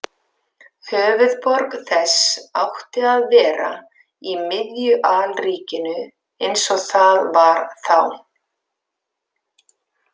Höfuðborg þess átti að vera í miðju alríkinu eins og það var þá.